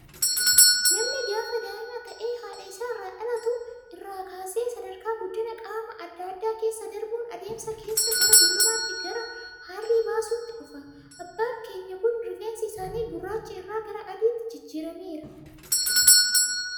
Namni gaafa daa'ima ta'ee, haadha isaa irraa dhalattu irraa kaasee sadarkaa guddina qaamaa addaa addaa keessa darbuun, adeemsa keessa gara dullumaatti, gara haarrii baasuutti dhufa. Abbaan keenya Kun, rifeensi isaanii gurraacha irraa gara adiitti jijjiirameera.